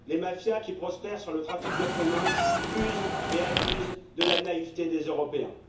Les mafias qui prospèrent sur le trafic d'êtres humains usent et abusent de la naïveté des Européens.